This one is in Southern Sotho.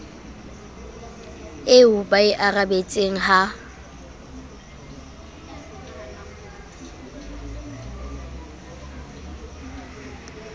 eo ba e arabetseng ha